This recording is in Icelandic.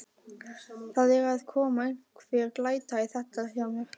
Það er að koma einhver glæta í þetta hjá mér.